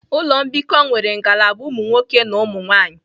Ụlọ mbikọ nwere ngalaba ụmụ nwoke na ụmụ nwanyị